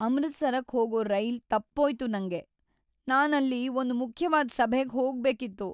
ಅಮೃತ್ಸರಕ್ ಹೋಗೋ ರೈಲ್ ತಪ್ಪೋಯ್ತು ನಂಗೆ. ನಾನಲ್ಲಿ ಒಂದ್ ಮುಖ್ಯವಾದ್ ಸಭೆಗ್ ಹೋಗ್ಬೇಕಿತ್ತು.